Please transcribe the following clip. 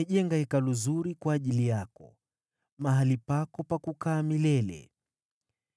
Nimejenga Hekalu zuri kwa ajili yako, mahali pako pa kukaa milele.”